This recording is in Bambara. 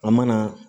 An mana